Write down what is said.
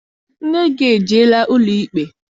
Nne gị ejeela ụlọikpe?